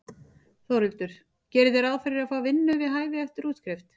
Þórhildur: Gerið þið ráð fyrir að fá vinnu við hæfi eftir útskrift?